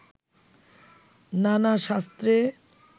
নানা শাস্ত্রে